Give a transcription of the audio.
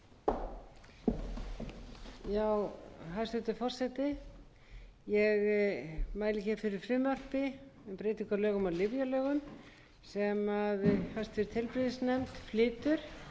á lyfjalögum númer níutíu og þrjú nítján hundruð níutíu og fjögur með síðari breytingum sem hæstvirtur heilbrigðisnefnd flytur þetta er stutt frumvarp